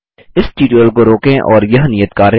इस ट्यूटोरियल को रोकें और यह नियत कार्य करें